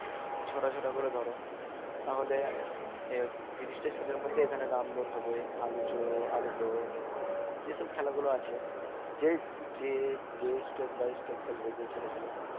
ছটা ছটা করে ধরো তাহলে এই তিরিশটা ছেলের মধ্যে এখানে run দৌড় হবে আলু চোর আলু দৌড় এসব খেলা গুলো আছে যে যে যে step by step খেলবে যে ছেলেগুলো